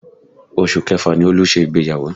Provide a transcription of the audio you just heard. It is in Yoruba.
Oṣù Kẹfà ni Olú ṣe ìgbéyàwó